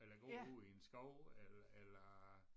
Eller gå ude i en skov el eller